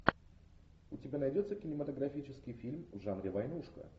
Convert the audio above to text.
у тебя найдется кинематографический фильм в жанре войнушка